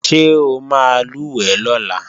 Ṣé o máa lùwẹ̀ lọ́la?